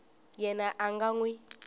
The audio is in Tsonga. yena a nga n wi